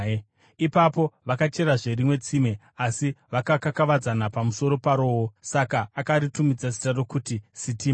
Ipapo vakacherazve rimwe tsime, asi vakakakavadzana pamusoro parowo; saka akaritumidza zita rokuti Sitima.